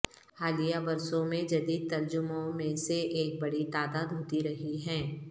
حالیہ برسوں میں جدید ترجموں میں سے ایک بڑی تعداد ہوتی رہی ہیں